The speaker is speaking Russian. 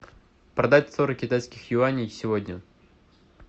продать сорок китайских юаней сегодня